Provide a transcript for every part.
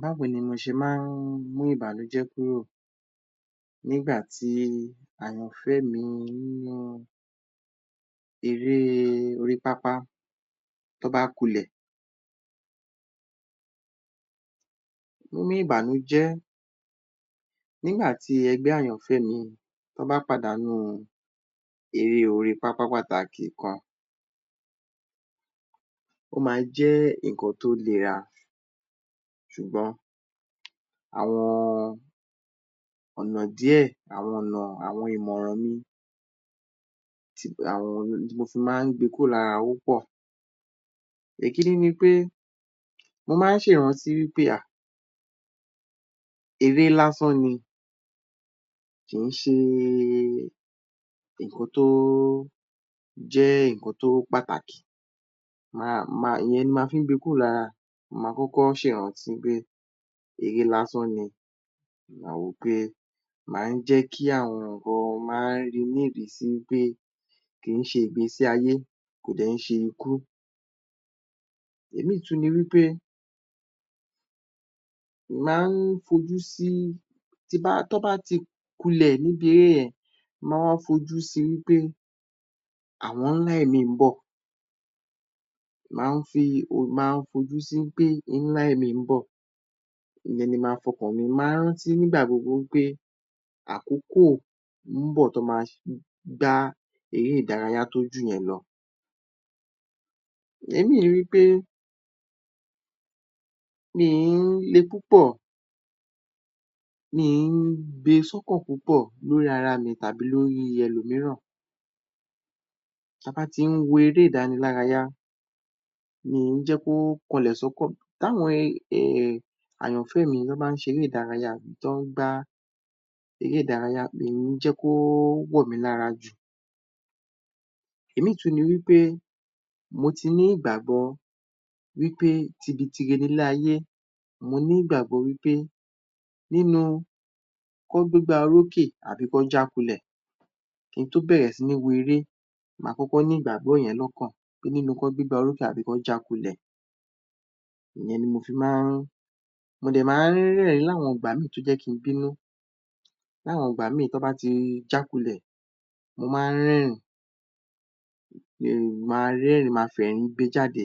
Báwo ni mo ṣe máa ń mú ìbànújé kúrò nígbà tí àyànfẹ́ mi nínú eré orí pápá, tó bá kulẹ̀? Níní ìbànújẹ́ nígbà tí ẹgbẹ́ àyànfẹ́ mi, tọ́ bá pàdánù eré orí pápá pàtàkì kan, ó máa ń jẹ́ ǹnkan tó lera ṣùgbọ́n àwọn ọ̀nà díẹ̀, àwọn ìmọ̀ràn mi, ohun tí mo fi máa ń gbe kúrò lára, ó pọ̀. Ìkíní ni wí pé, mo máa ń ṣe ìrántí pé um eré lásán ni, kì í ṣe ǹnkan tó jẹ́ ǹnkan tó pàtàkì, ìyẹn ni máa fi ń gbe kúrò lára, mo máa kọ́kọ́ ṣe ìrántí pé eré lásán ni, mo máa wò pé ó máa ń jẹ́ kí àwọn èèyàn máa ri ní ìrísí pé kò ń ṣe ìgbésí ayé, kò dẹ̀ ń ṣe ikú. Ìmí tún ni wí pé, tọ́ bá ti kulẹ̀ nínú ere yẹn, mo máa ń fojú si wí pé àwọn ńlá mìíràn ń bọ̀, mo máa ń fojú si pé ńlá mìíràn ń bọ̀, ìyẹn ni máa fi ọkàn mi sí. Mo máa ń rántí nígbà gbogbo wí pé àkókò ń bọ̀ tọ́ máa gbá eré ìdárayá tó ju ìyẹn lọ. Ìmí ni wí pé, mi ò ń le púpọ̀, gbe sí ọkàn púpọ̀ lórí ara mi tàbí ẹlòmíràn, tí a bá ti ń wo eré-ìdanilárayá, mì ń jẹ́ kó wọlẹ̀ sọ́kàn mi. Tí àwọn àyànfẹ́ mi, tọ́ bá ṣe eré-ìdárayá, tó ń gbá eré-ìdárayá, mì ń jẹ́ kó wọ̀ mí lára jù. Ìmí tún ni pé, mo ti ní ìgbàgbọ́ wí pé, tibi tire ni ilé-ayé ní ìgbàgbọ́ wí pé nínú kọ́ gbégbá orókè àbí kó já kulẹ,̀ kí n tó bẹ̀rẹ̀ sí ní wo eré, máa kọ́kọ́ ní ìgbàgbọ́ yẹn lọ́kàn pé nínú kọ́ gbégá orókè tàbí kọ́ já kulẹ̀. Ìyẹn ni mo fi máa ń, mo dẹ̀ máa ń rẹ́rìn-ín nígbá mìí tó yẹ́ kí ń bínú, ní àwọn ìgbà mìí, tọ́ bá ti já kulẹ̀, mo máa ń rẹ́rìn-ín pé, máa rẹ́rìn-ìn, máa fẹ̀rín gbe jáde.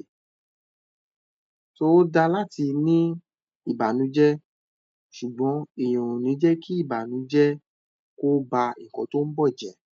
ó da láti ní ìbànújẹ́ ṣùgbọ́n, èèyàn ò ní jẹ́ kí ìbànújẹ kó ba ǹnkan tó ń bọ̀ jẹ̀.